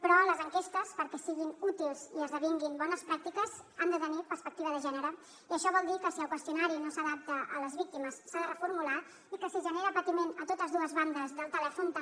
però les enquestes perquè siguin útils i esdevinguin bones pràctiques han de tenir perspectiva de gènere i això vol dir que si el qüestionari no s’adapta a les víctimes s’ha de reformular i que si genera patiment a totes dues bandes del telèfon també